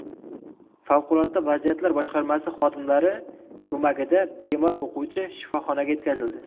Favqulodda vaziyatlar boshqarmasi xodimlari ko‘magida bemor o‘quvchi shifoxonaga yetkazildi.